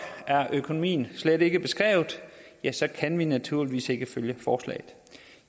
økonomien slet ikke er beskrevet ja så kan vi naturligvis ikke støtte forslaget